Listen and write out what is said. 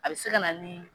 A bɛ se ka na ni